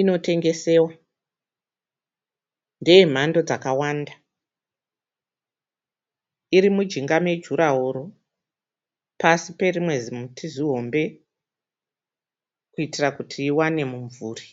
Inotengesewa ndeyemhando dzakawanda. Iri mujinga mejuraworo pasi perimwe zimuti zihombe kuitira kuti iwane mumvuri